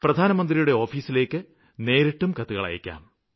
പ്രധാനമന്ത്രിയുടെ ഓഫീസിലേക്ക് നേരിട്ടും കത്തയയ്ക്കാം